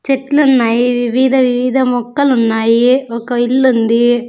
చెట్లు ఉన్నాయి వివిధ వివిధ మొక్కలు ఉన్నాయి ఒక ఇల్లు ఉంది.